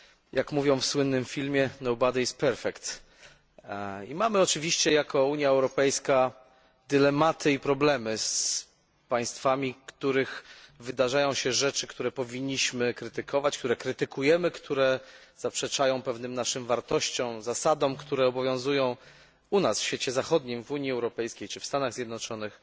Jak mówią w słynnym filmie I mamy oczywiście jako Unia Europejska dylematy i problemy z państwami, w których wydarzają się rzeczy, które powinniśmy krytykować, które krytykujemy, które zaprzeczają pewnym naszym wartościom, zasadom, które obowiązują u nas, w świecie zachodnim, w Unii Europejskiej czy w Stanach Zjednoczonych.